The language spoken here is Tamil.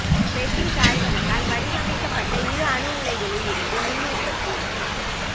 பெட்டிஸ் ஆய்வகத்தால் வடிவமைக்கப்பட்ட இரு அணு உலைகளில் இருந்து மின் உற்பத்தி